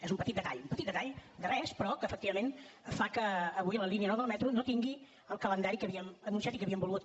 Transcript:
és un petit detall un petit detall de res però que efectivament fa que avui la línia nou del metro no tingui el calendari que havíem anunciat i que havíem volgut